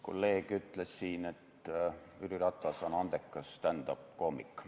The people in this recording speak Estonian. Kolleeg ütles siin, et Jüri Ratas on andekas stand-up-koomik.